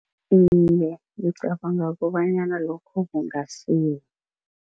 Iye, ngicabanga kobanyana lokho kungasiza.